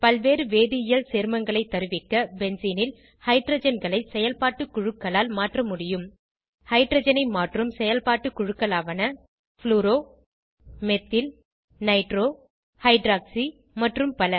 பலவேறு வேதியியல் சேர்மங்களை தருவிக்க பென்சீன் ல் ஹைட்ரஜன்களை செயல்பாட்டு குழுக்களால் மாற்ற முடியும் ஹைட்ரஜனை மாற்றும் செயல்பாட்டு குழுக்களாவன ப்ளூரோ மெத்தில் நைட்ரோ ஹைட்ராக்ஸி மற்றும் பல